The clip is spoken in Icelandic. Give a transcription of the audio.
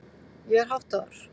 Ég er háttaður.